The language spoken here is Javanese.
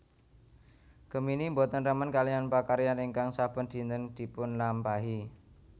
Gemini boten remen kaliyan pakaryan ingkang saben dinten dipunlampahi